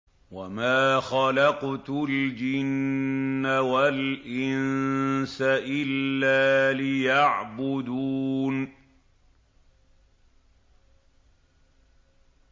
وَمَا خَلَقْتُ الْجِنَّ وَالْإِنسَ إِلَّا لِيَعْبُدُونِ